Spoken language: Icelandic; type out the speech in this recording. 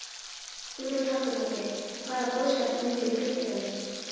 Hugrún Halldórsdóttir: Og hvaða boðskap myndirðu flytja þeim?